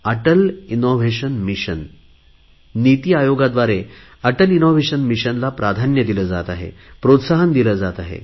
Atal innovation Missionला प्राधान्य दिले जात आहे प्रोत्साहन दिले जात आहे